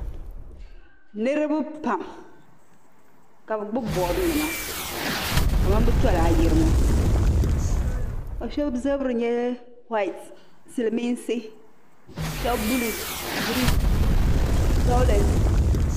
Niriba pam ka bɛ gbubi boodinima kamani bɛ tola ayirimo ka shɛba zabiri nyɛ whayiti Silimiinsi shɛba buluu giriin vawuleti.